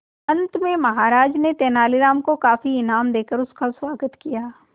अंत में महाराज ने तेनालीराम को काफी इनाम देकर उसका स्वागत किया